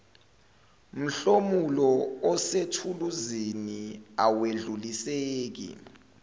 mhlomulo osethuluzini awedluliseki